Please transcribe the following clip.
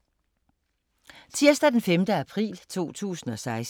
Tirsdag d. 5. april 2016